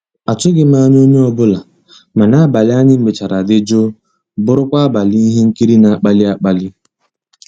àtụ́ghị́m ànyá onye ọ́bụ́la, mana àbàlí ànyị́ mechara dị́ jụ́ụ́ bụ́rụ́kwa àbàlí íhé nkírí ná-àkpàlí àkpàlí.